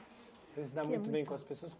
Você se dá muito bem com as pessoas.